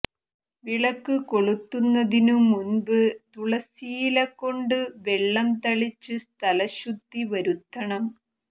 വിളക്ക് കൊളുത്തുന്നതിനു മുന്പ് തുളസിയിലകൊണ്ടു വെള്ളം തളിച്ച് സ്ഥലശുദ്ധി വരുത്തണം